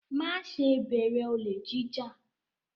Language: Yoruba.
Má ṣe bẹ̀rẹ̀ olè jí jà!